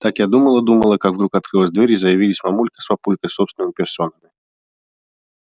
так я думала-думала как вдруг открылась дверь и заявились мамулька с папулькой собственными персонами